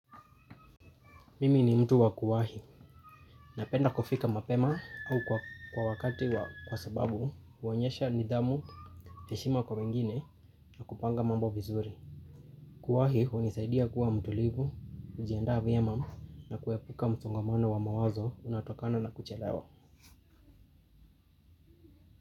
Mimi ni mtu wa kuwahi. Napenda kufika mapema au kwa wakati wa kwa sababu huonyesha nidhamu heshima kwa wengine kupanga mambo vizuri. Kuwahi hunisaidia kuwa mtulivu, kujiandaa vyema na kuepuka msongamano wa mawazo unaotokana na kuchelewa.